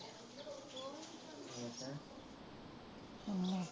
ਹਾਂ